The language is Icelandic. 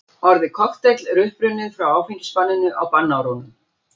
Orðið kokteill er upprunnið frá áfengisbanninu á bannárunum.